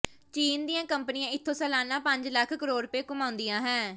ਚੀਨ ਦੀਆਂ ਕੰਪਨੀਆਂ ਇੱਥੋਂ ਸਾਲਾਨਾ ਪੰਜ ਲੱਖ ਕਰੋੜ ਰੁਪਏ ਕਮਾਉਂਦੀਆਂ ਹੈ